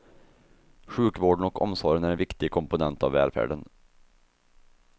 Sjukvården och omsorgen är en viktig komponent av välfärden.